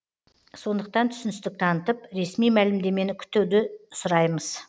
сондықтан түсіністік танытып ресми мәлімдемені күтуді сұраймыз